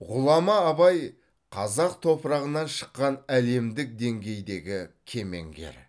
ғұлама абай қазақ топырағынан шыққан әлемдік деңгейдегі кемеңгер